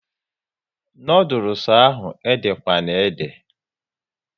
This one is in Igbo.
Noodules ahụ ede kwana ede!